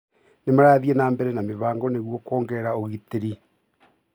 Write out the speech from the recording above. Nĩ marathiĩ nambere na mĩbango nĩguo kũongerera ũgitĩri itũra